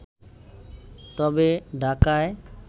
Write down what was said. তবে ঢাকায়